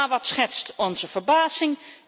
Maar wat schetst onze verbazing?